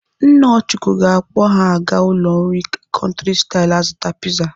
Nna Ọchụko ga-akpọ ha aga ụlọ nri Country style azụta piza.